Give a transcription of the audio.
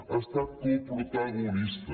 ha estat coprotagonista